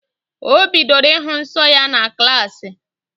O bidoro ịhụ nsọ ya na klaasị